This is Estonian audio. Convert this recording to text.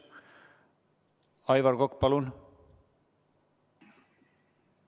Aivar Kokk, palun!